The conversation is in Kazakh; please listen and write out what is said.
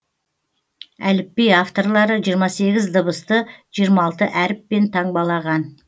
әліпби авторлары жиырма сегіз дыбысты жиырма алты әріппен таңбалаған